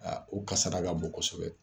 Aa u kasaara ka bon kosɛbɛ.